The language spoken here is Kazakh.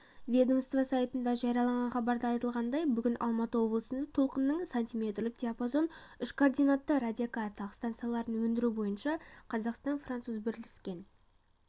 ведомство сайтында жарияланған хабарда айтылғандай бүгін алматы облысында толқынының сантиметрлік диапазон үшкоординатты радиолокациялық стансаларын өндіру бойынша қазақстан-француз бірлескен